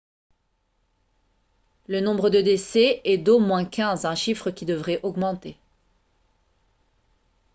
le nombre de décès est d'au moins 15 un chiffre qui devrait augmenter